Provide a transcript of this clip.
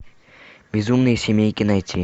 безумные семейки найти